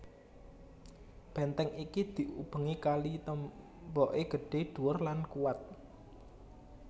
Benteng iki diubengi kali temboke gedhe dhuwur lan kuwat